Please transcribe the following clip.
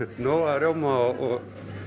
nóg af rjóma og